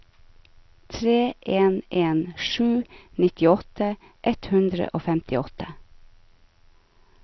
tre en en sju nittiåtte ett hundre og femtiåtte